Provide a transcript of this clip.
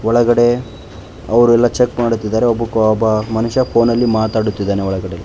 ಒಳಗಡೆ ಅವರು ಎಲ್ಲ ಚೆಕ್ ಮಾಡುತ್ತಿದ್ದಾರೆ ಒಬ್ಬ ಮನುಷ್ಯ ಫೋನಲ್ಲಿ ಮಾತಾಡುತ್ತಿದ್ದೇನೆ ಒಳಗಡೆ.